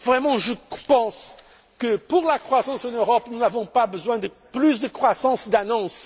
Je pense vraiment que, pour la croissance en Europe, nous n'avons pas besoin de plus de croissance d'annonce.